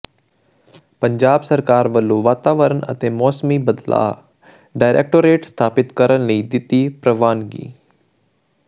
ਪੰਜਾਬ ਸਰਕਾਰ ਵੱਲੋਂ ਵਾਤਾਵਰਣ ਅਤੇ ਮੌਸਮੀ ਬਦਲਾਅ ਡਾਇਰੈਕਟੋਰੇਟ ਸਥਾਪਿਤ ਕਰਨ ਦੀ ਦਿੱਤੀ ਪ੍ਰਵਾਨਗੀ